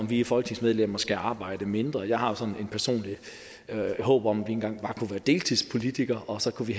vi folketingsmedlemmer skal arbejde mindre jeg har sådan et personligt håb om at vi engang bare kunne være deltidspolitikere og så kunne vi